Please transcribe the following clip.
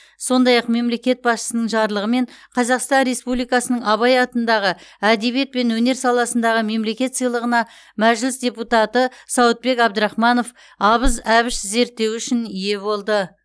сондай ақ мемлекет басшысының жарлығымен қазақстан республикасының абай атындағы әдебиет пен өнер саласындағы мемлекет сыйлығына мәжіліс депутаты сауытбек абдрахманов абыз әбіш зерттеуі үшін ие болды